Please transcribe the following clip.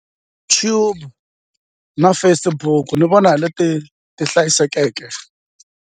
na Facebook ni vona hi leti ti hlayisekeke.